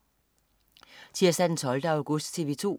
Tirsdag den 12. august - TV 2: